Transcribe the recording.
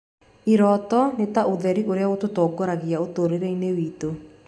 Iroto nĩ ta ũtheri ũrĩa ũtũtongoragia ũtũũro-inĩ witũ.